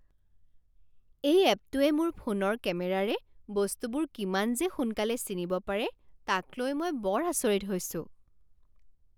এই এপটোৱে মোৰ ফোনৰ কেমেৰাৰে বস্তুবোৰ কিমান যে সোনকালে চিনিব পাৰে তাক লৈ মই বৰ আচৰিত হৈছোঁ।